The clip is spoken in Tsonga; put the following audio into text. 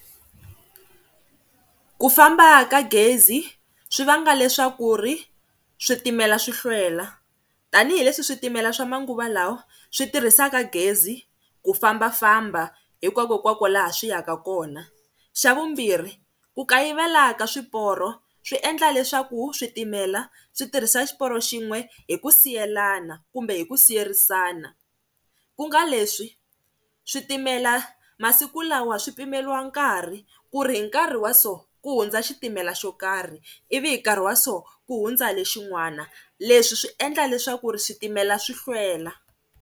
Ku famba ka gezi swi vanga leswaku ri switimela swi hlwela tanihileswi switimela swa manguva lawa swi tirhisaka gezi ku fambafamba hinkwakokwako laha swi yaka kona. Xa vumbirhi ku kayivela ka swiporo swi endla leswaku switimela swi tirhisa xiporo xin'we hi ku siyelana kumbe hi ku siyerisana, ku nga leswi switimela masiku lawa swi pimeliwa nkarhi ku ri hi nkarhi wa so ku hundza xitimela xo karhi ivi hi nkarhi wa so ku hundza lexin'wana, leswi swi endla leswaku ri switimela swi hlwela.